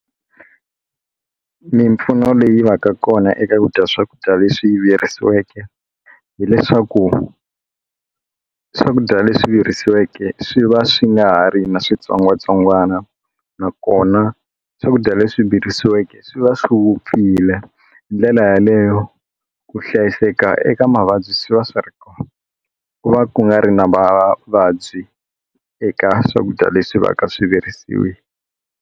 Mimpfuno leyi va ka kona eka ku dya swakudya leswi virisiweke hileswaku swakudya leswi virisiweke swi va swi nga ha ri na switsongwatsongwana nakona swakudya leswi virisiweke swi va swi vupfile ndlela yaleyo ku hlayiseka eka mavabyi swi va swi ri kona ku va ku nga ri na vavabyi eka swakudya leswi va ka swivirisiwile.